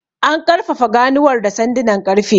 An ƙarfafa ganuwar da sandunan ƙarfe.